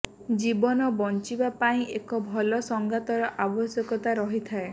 ଜୀବନ ବଞ୍ଚିବା ପାଇଁ ଏକ ଭଲ ସଙ୍ଗାତର ଆବଶ୍ୟକତା ରହିଥାଏ